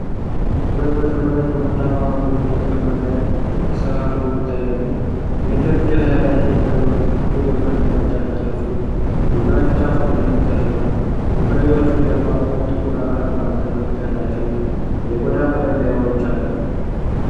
ሁለት መጥረቢያዎች በቡናማ ማገዶ እንጨት ክምር ላይ ተሰካክለው ይታያሉ። የእንጨት እጀታ ያላቸው መጥረቢያዎቹ ጥቁር የብረት ምላጭ ያላቸው ሲሆን፣ የምላጩ ጫፍ በደንብ ተስሏል። ከመጥረቢያዎቹ ጀርባ ሁለት ጥቁር፣ አራት ማዕዘን ቅርጽ ያላቸው የቆዳ መጠቅለያዎች አሉ